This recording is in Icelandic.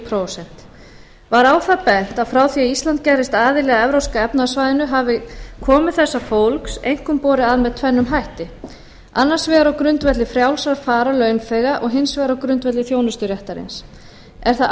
prósent var á það bent að frá því að ísland gerðist aðili að evrópska efnahagssvæðinu hafi komu þessa fólks einkum borið að með tvennum hætti annars vegar á grundvelli frjálsrar farar launþega og hins vegar á grundvelli þjónusturéttarins er það